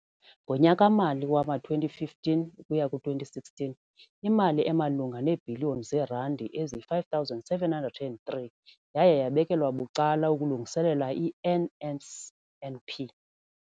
Ngonyaka-mali wama-2015 ukuya ku-2016, imali emalunga neebhiliyoni zeerandi eziyi-5 703 yaye yabekelwa bucala ukulungiselela i-NSNP.